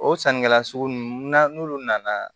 O sannikɛla sugu nunnu na n'olu nana